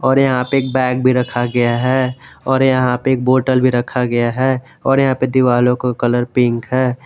और यहां पे एक बैग भी रखा गया है और यहां पे एक बोतल भी रखा गया है और यहां पे दीवारों को कलर पिंक है।